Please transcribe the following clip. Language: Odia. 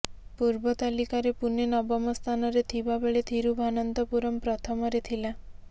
ପୂର୍ବ ତାଲିକାରେ ପୁନେ ନବମ ସ୍ଥାନରେ ଥିବା ବେଳେ ଥିରୁଭାନନ୍ତପୁରମ୍ ପ୍ରଥମରେ ଥିଲା